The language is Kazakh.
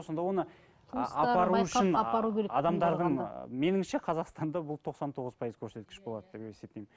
сонда оны адамдардың меніңше қазақстанда ол тоқсан тоғыз пайыз көрсеткіш болады деп есептеймін